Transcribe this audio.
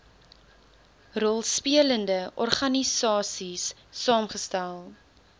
rolspelende organisaies saamgestel